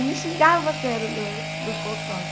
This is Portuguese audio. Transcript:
E me xingava até no no no consultório.